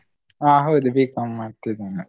ಹ ಹೌದು B.Com ಮಾಡ್ತಿದ್ದೇನೆ.